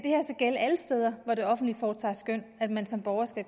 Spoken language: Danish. gælde alle steder hvor det offentlige foretager skøn at man som borger skal